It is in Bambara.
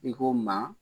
I ko maa